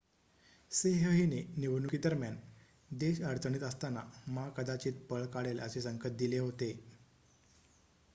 सेह हिने निवडणुकीदरम्यान देश अडचणीत असताना मा कदाचित पळ काढेल असे संकेत दिले होते